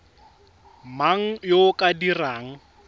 mang yo o ka dirang